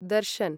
Darshan